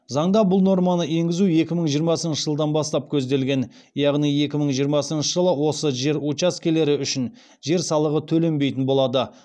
заңда бұл норманы енгізу екі мың жиырмасыншы жылдан бастап көзделген яғни екі мың жиырмасыншы жылы осы жер учаскелері үшін жер салығы төленбейтін болады